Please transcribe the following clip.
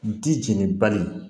Di jeni bali